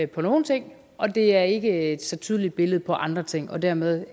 på nogle ting og det er ikke et så tydeligt billede på andre ting og dermed